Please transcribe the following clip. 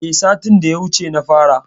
Eh satin da ya wuce na fara.